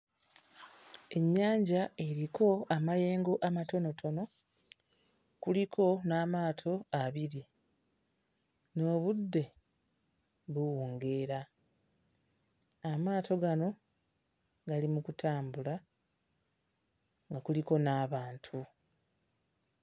Ennyanja eriko amayengo amatonotono, kuliko n'amaato abiri, n'obudde buwungeera. Amaato gano gali mu kutambula nga kuliko n'abantu.